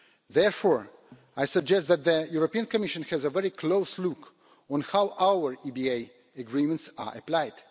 Therefore, I suggest that the European Commission has a very close look on how our EBA agreements are applied.